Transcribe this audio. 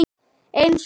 Eins gott.